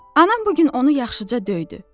Anam bu gün onu yaxşıca döydü.